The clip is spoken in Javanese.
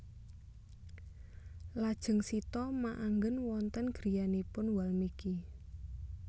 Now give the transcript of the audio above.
Lajeng Sita maanggen wonten griyanipun Walmiki